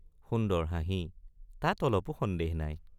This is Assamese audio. সুন্দৰ— হাঁহি তাত অলপো সন্দেহ নাই!